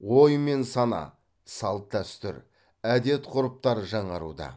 ой мен сана салт дәстүр әдет ғұрыптар жаңаруда